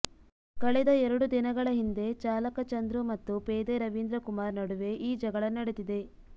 ಕಳೆದ ಎರಡು ದಿನಗಳ ಹಿಂದೆ ಚಾಲಕ ಚಂದ್ರು ಮತ್ತು ಪೇದೆ ರವೀಂದ್ರ ಕುಮಾರ್ ನಡುವೆ ಈ ಜಗಳ ನಡೆದಿದೆ